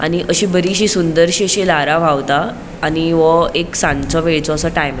आणि अशी बरिशी सुंदरशी अशी लारा व्हावता आणि वो एक सांचो वेळचो असो टाइम आसा.